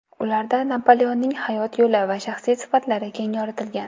Ularda Napoleonning hayot yo‘li va shaxsiy sifatlari keng yoritilgan.